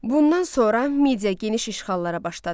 Bundan sonra Midiya geniş işğallara başladı.